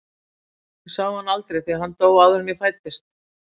Ég sá hann aldrei því að hann dó áður en ég fæddist.